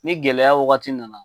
Ni gɛlɛya wagati nana